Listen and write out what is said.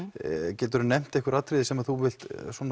geturðu nefnt einhver atriði sem þú vilt